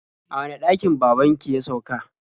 A wane ɗakin baban ki ya sauka?